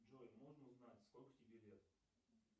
джой можно узнать сколько тебе лет